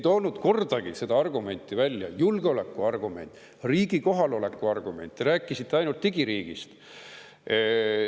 Te ei toonud kordagi seda argumenti välja – julgeolekuargumenti, riigi kohaloleku argumenti –, te rääkisite ainult digiriigist.